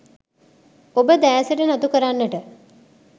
ඔබ දෑසට නතු කරන්නට